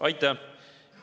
Aitäh!